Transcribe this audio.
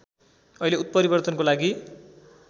अहिले उत्परिवर्तनको लागि